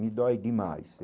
Me dói demais.